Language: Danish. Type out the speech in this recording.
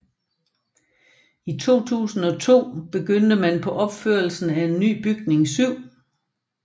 I 2002 begyndte man på opførelsen af en ny bygning 7